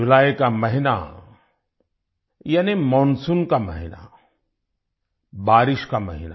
जुलाई का महीना यानि मानसून का महीना बारिश का महीना